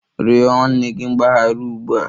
Rịọ nwanne gị mgbaghara ugbu a!